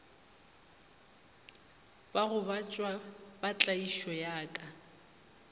bagobatšwa ba tlaišo ya ka